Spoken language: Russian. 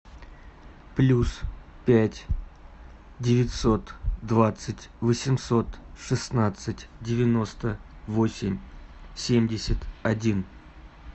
плюс пять девятьсот двадцать восемьсот шестнадцать девяносто восемь семьдесят один